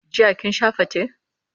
jiya kin Sha fate?